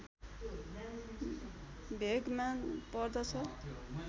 भेगमा पर्दछ